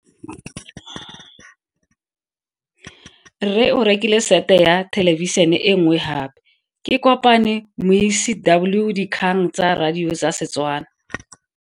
Rre o rekile sete ya thelebišene e nngwe gape. Ke kopane mmuisi w dikgang tsa radio tsa Setswana.